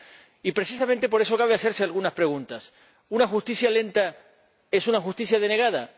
Y, precisamente por eso, cabe hacerse algunas preguntas ¿Una justicia lenta es una justicia denegada?